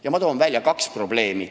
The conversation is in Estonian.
Ja ma toon välja kaks probleemi.